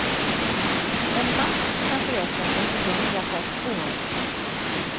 En mask kan föröka sig till hundra på ett år.